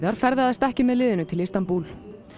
ferðaðist ekki með liðinu til Istanbúl